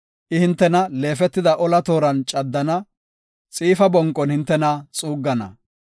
I hintena leefetida ola tooran caddana; xiifa bonqon hintena xuuggana.